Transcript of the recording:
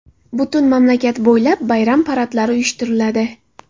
Butun mamlakat bo‘ylab bayram paradlari uyushtiriladi.